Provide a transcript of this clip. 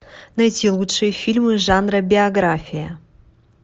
найти лучшие фильмы жанра биография